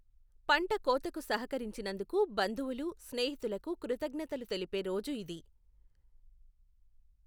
పంట కోతకు సహకరించినందుకు బంధువులు, స్నేహితులకు కృతజ్ఞతలు తెలిపే రోజు ఇది.